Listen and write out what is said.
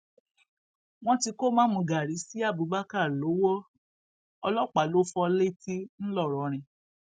wọn ti kó mámúgaàrí sí abubakar lowó ọlọpàá ló fọ létí ńlọrọrin